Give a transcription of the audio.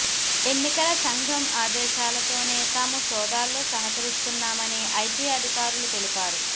ఎన్నికల సంఘం ఆదేశాలతోనే తాము సోదాల్లో సహకరిస్తున్నామని ఐటీ అధికారులు తెలిపారు